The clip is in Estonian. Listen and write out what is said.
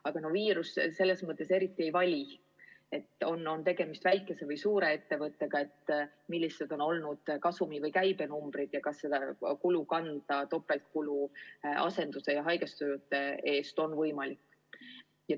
Aga viirus eriti ei vali, kas on tegemist väikese või suure ettevõttega, millised on olnud kasumi või käibe numbrid ja kas seda topeltkulu asenduse ja haigestunute eest makstes on võimalik kanda.